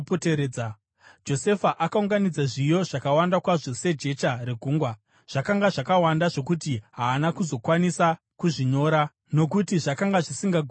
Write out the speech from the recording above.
Josefa akaunganidza zviyo zvakawanda kwazvo, sejecha regungwa; zvakanga zvakawanda zvokuti haana kuzokwanisa kuzvinyora nokuti zvakanga zvisisagoni kuyerwa.